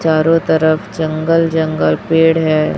चारों तरफ जंगल जंगल पेड़ है।